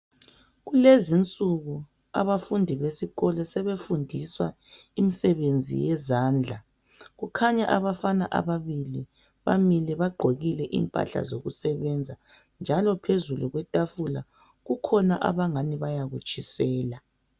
Kulezinsuku abafundi besikolo sebefundiswa imisebenzi yezandla. Kukhanya abafana ababili bamile bagqokile impahla zokusebenza njalo phezulu kwetafula kukhona abangani bayakutshisela